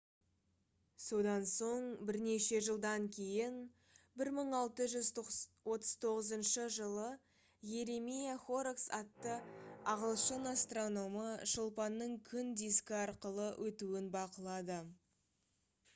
содан соң бірнеше жылдан кейін 1639 жылы йеремия хоррокс атты ағылшын астрономы шолпанның күн дискі арқылы өтуін бақылады